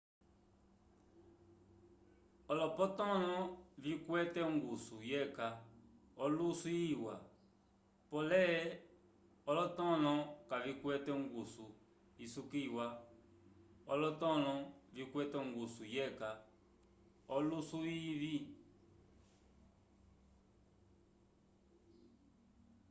olopotõlo vikwete ongusu yeca olusu iwa pole olonotõlo kavikwete ongusu isukiliwa alotõlo vikwete ongusu yeca olusu ivĩ